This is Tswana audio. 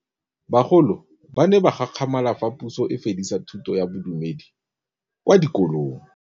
Bagolo ba ne ba gakgamala fa Pusô e fedisa thutô ya Bodumedi kwa dikolong.